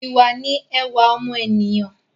Ìwà ni ẹwà ọmọ ènìyàn